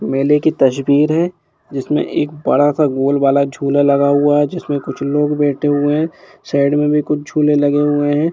मेले की तस्वीर है जिसमे एक बड़ा स गोल वाला झूला लगा हुआ है जिसमे कुछ लोग बैठे हुए है साइड मे भी कुछ झूले लगे हुए है।